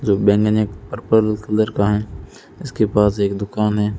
जो बैनेन एक पर्पल कलर का है इसके पास एक दुकान है।